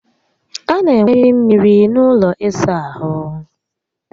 A na enweriri mmiri n'ụlọ ịsa ahụ